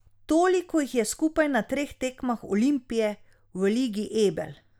Toliko jih je skupaj na treh tekmah Olimpije v Ligi Ebel.